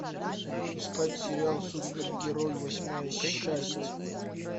искать сериал супергерой восьмая часть